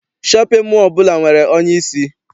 Shọpịn mọọ ọbụla nwere onyeisi.